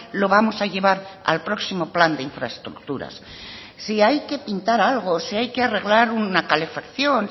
lo vamos a llevar al próximo plan de infraestructuras si hay que pintar algo si hay que arreglar una calefacción